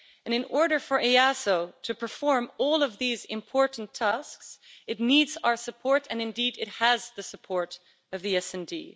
In order for EASO to perform all of these important tasks, it needs our support and, indeed, it has the support of the SD.